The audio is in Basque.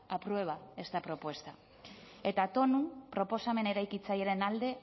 aprueba esta propuesta eta tonu proposamen eraikitzailearen alde